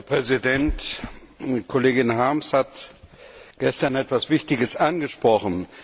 Herr Präsident! Kollegin Harms hat gestern etwas Wichtiges angesprochen.